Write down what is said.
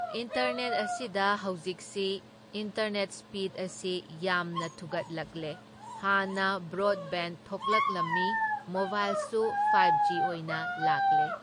Internet ꯑꯁꯤꯗ ꯍꯧꯖꯤꯛꯁꯤ internet speed ꯑꯁꯤ ꯌꯥꯝꯅ ꯊꯨꯒꯠꯂꯛꯂꯦ, ꯍꯥꯟꯅ ꯕ꯭ꯔꯣꯗꯕꯦꯟ ꯊꯣꯛꯂꯛꯂꯝꯃꯤ ,ꯃꯣꯕꯥꯏꯜꯁꯨ ꯐꯥꯏꯞ ꯖꯤ ꯑꯣꯏꯅ ꯂꯥꯛꯂꯦ꯫